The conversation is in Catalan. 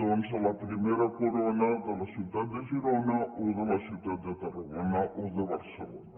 doncs a la primera corona de la ciutat de girona o de la ciutat de tarragona o de barcelona